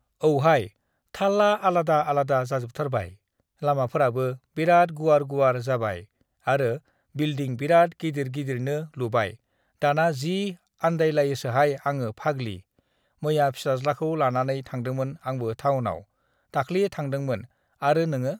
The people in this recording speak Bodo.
"औहाय, थाल्ला आलादा आलादा जाजोबथारबाय। लामाफोराबो बिरात गुवार-गुवार जाबाय आरो बिल्दिं (Building) बिरात गिदिर-गिदिरनो लुबाय दाना जि आन्दायलायोसोहाय आङो फागलि। मैया फिसाज्लाखौ लानानै थांदोंमोन आंबो थाउनाव। दाख्लि थांदोंमोन आरो नोङो?" (This conversation is between female speakers)